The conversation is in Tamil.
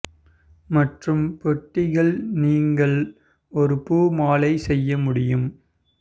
மற்றும் பெட்டிகள் நீங்கள் ஒரு பூ மலை செய்ய முடியும்